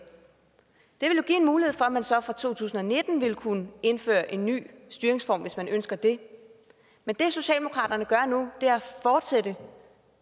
det give en mulighed for at man så fra to tusind og nitten ville kunne indføre en ny styringsform hvis man ønsker det men det socialdemokraterne gør nu er at fortsætte